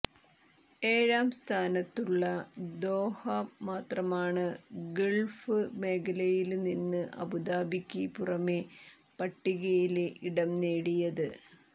ഏഴാം സ്ഥാനത്തുള്ള ദോഹ മാത്രമാണ് ഗള്ഫ് മേഖലയില്നിന്ന് അബുദാബിക്ക് പുറമേ പട്ടികയില് ഇടം നേടിയത്